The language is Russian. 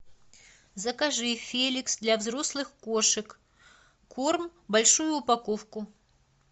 закажи феликс для взрослых кошек корм большую упаковку